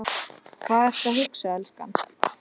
Hvað ertu að hugsa, elskan?